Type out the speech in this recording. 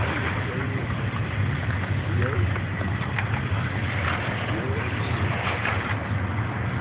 Aí veio... E eu... Eu e o meu irmão.